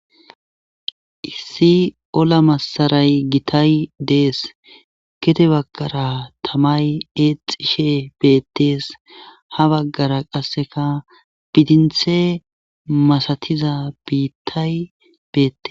issi olla masaray gitay dees kete baggara tamay eexishe beettees ha baggara qaseka bidinthe masatiza biittay beette.